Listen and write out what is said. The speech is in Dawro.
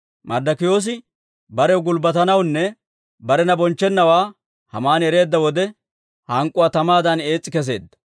Marddokiyoosi barew gulbbatennawaanne barena bonchchennawaa Haamani ereedda wode, hank'k'uwaa tamaadan ees's'i kesseedda.